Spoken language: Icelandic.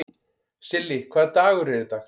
Silli, hvaða dagur er í dag?